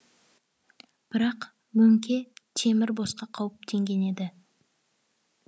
бірақ мөңке темір босқа қауіптенген еді